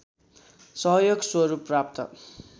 सहयोग स्वरूप प्राप्त